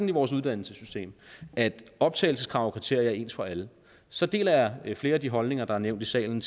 i vores uddannelsessystem at optagelseskrav og kriterier er ens for alle så deler jeg flere af de holdninger der er nævnt i salen